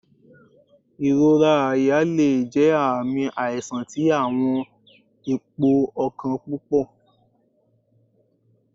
Ìrora àyà le jẹ aami aisan ti awọn ipo ọkan pupọ